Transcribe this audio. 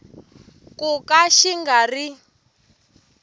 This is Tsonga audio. ku ka xi nga ri